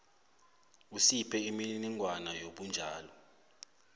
usiphe imininingwana yobunjalo